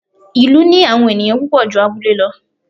ìlú ní àwọn ẹniyan púpò jú abúlé lọ